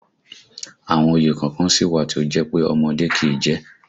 Àwọn òye kọ̀ọ̀kan sì wà tí ó jẹ́ pé ọmọdé kìí jẹ